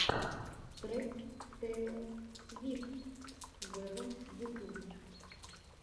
трек тейлор свифт вево ютуб